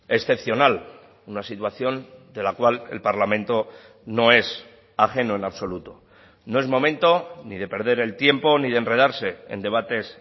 excepcional una situación de la cual el parlamento no es ajeno en absoluto no es momento ni de perder el tiempo ni de enredarse en debates